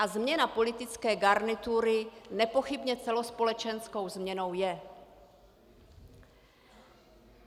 A změna politické garnitury nepochybně celospolečenskou změnou je.